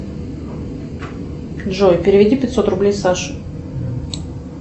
джой переведи пятьсот рублей саше